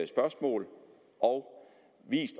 spørgsmål og vist